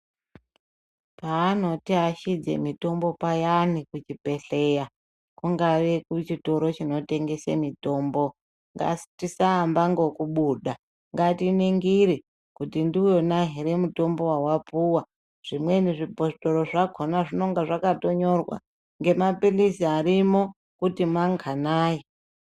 Paanotiashidze mitombo payani kuchibhedhleya, kungave kuchikoro chinotengese mitombo, ngatisaamba ngokubuda ,ngatiningire ,kuti ndiwona here mutombo wawapuwa. Zvimweni zvibhothoro zvakhona zvinonga zvakatonyorwa, ngemaphilizi arimo kuti manganai.